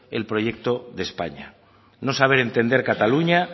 el proyecto de españa no saber entender cataluña